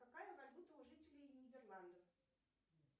какая валюта у жителей нидерландов